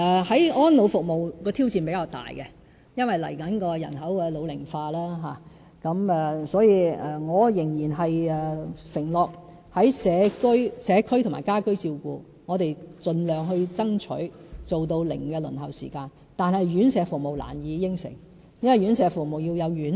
在安老服務方面的挑戰比較大，因為未來人口老齡化，我仍然承諾在社區和家居照顧上，我們盡量爭取做到"零輪候"時間，但院舍服務難以承諾，因為院舍服務需要有院舍。